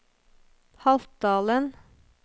Haltdalen